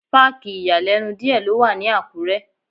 Páàkì ìyàlẹ́nu díẹ̀ ló wà ní Àkúrẹ́.